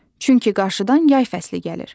Çünki qarşıdan yay fəsli gəlir.